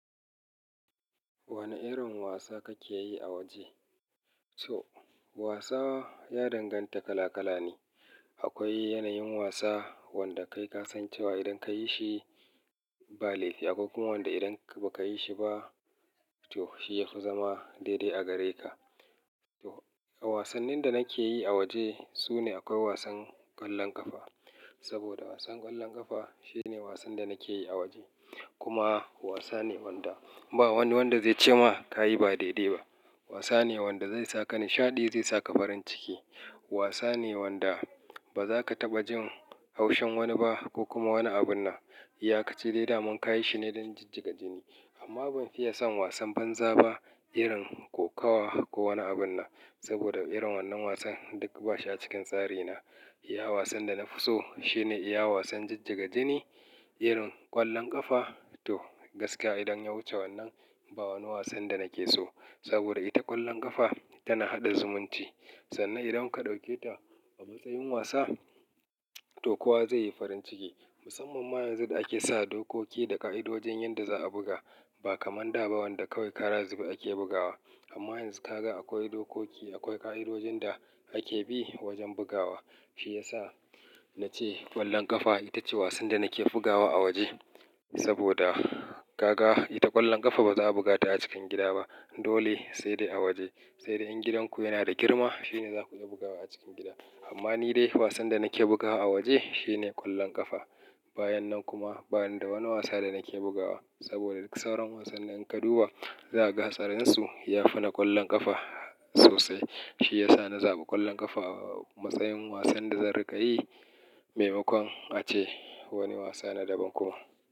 Wane irin wasa kake yi a waje? To wasa ya danganta kala kala ne. Akwai yanayin wasa wanda kai ka san cewa idan ka yi shi ba lefi, akwai kuma wanda idan ba ka yi shi ba to shi ya fi zama daidai a gare ka. To wasannin da nake yi a waje sune akwai wasan ƙwallon ƙafa. Saboda wasan ƙwallon ƙafa shine wasan da nake yi a waje. Kuma wasa ne wanda ba wani wanda zai ce ma ka yi ba daidai ba. Wasa ne wanda zai saka nishaɗi, zai saka farin ciki. Wasa ne wanda ba za ka taɓa jin haushin wani ba ko kuma wani abunnan. Iya ka ci dai daman ka yi shi ne don jijjiga jini. Amma ban fiye son wasan banza ba irin kokawa ko wani abun nan. Saboda irin wannan wasan duk ba shi a cikin tsari na. Iya wasan da na fi so shine iya wasan jijjiga jini irin ƙwallon ƙafa. To gaskiya idan ya wuce wannan ba wani wasan da nake so. Saboda ita ƙwallon ƙafa tana haɗa zumunci. Sannan idan ka ɗauke ta a matsayin wasa, to kowa zai yi farin ciki. Musamman ma yanzu da ake sa dokoki da ƙa'idojin yadda za a buga. Ba kamar da ba wanda kawai kara zibe ake bugawa. Amma yanzu ka ga akwai dokoki, akwai ƙa'idojin da ake bi wajen bugawa. Shi ya sa na ce ƙwallon ƙafa ita ce wasan da nake bugawa a waje. Saboda ka ga ita ƙwallon ƙafa ba za a buga ta a cikin gida ba. Dole sai dai a waje. Sai dai in gidanku yana da girma shine za ku iya bugawa a cikin gida. Amma ni dai wasan da nake bugawa a waje shine ƙwallon ƙafa. Bayan nan kuma bani da wani wasa da nake bugawa. Saboda duk sauran wasannin in ka duba za a ga hatsarinsu ya fi na ƙwallon ƙafa sosai. Shi ya sa na zaɓi ƙwallon ƙafa a matsayin wasan da zan riƙa yi. Maimakon ace wani wasa na daban kuma.